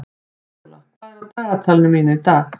Víóla, hvað er í dagatalinu mínu í dag?